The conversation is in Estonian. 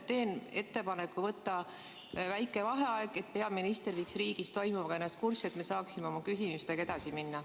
Teen ettepaneku võtta väike vaheaeg, et peaminister saaks riigis toimuvaga ennast kurssi viia ja meie saaksime oma küsimustega edasi minna.